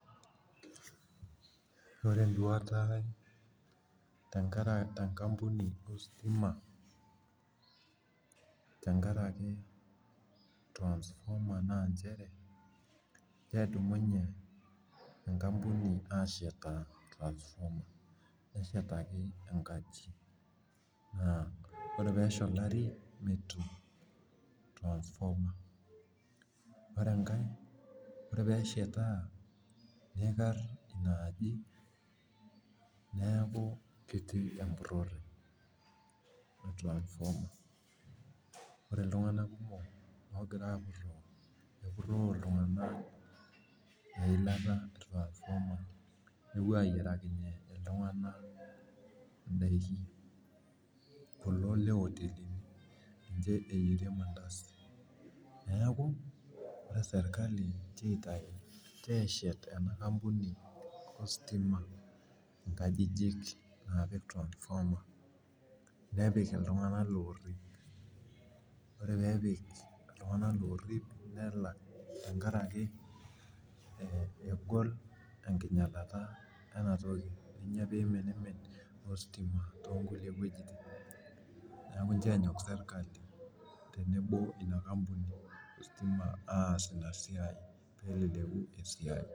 Ore nyuata te nkampuni ositima, tenkaraki transformer naa nchere, kedumunye enkampuni ashetaa transformer neshataki enkaji, naa ore pee ishori ntare .ore pee eshetaa nikari Ina ajo, neeku metii empurore. amu ore iltunganak kumok oogira apuroo eilata.e transformer nepuo aayierakinye iltunganak idaiki. kulo le oteli. ninche eyierie ilmandasini. neeku ore sirkali Inchoo eshet enkampuni ositima nkajijik, naapik transformer nepik iltunganak loorip. ore pee epik iltunganak loorip nelak, tenkaraki ore enkingialata ena toki pee iminimin, ositima too nkulie wuejitin neeku Inchoo enyok sirkali tenebo oina ampuni pee eleleku esiai.